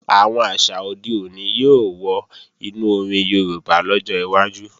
Àwọn àṣà òde òní yóò wọ inú orin Yorùbá lọ́jọ́ iwájú